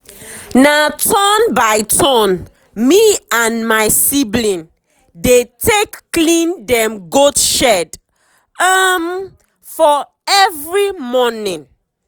na turn by turn me and my sibling dey take clean dem goat shed um for every morning.